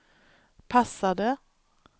passade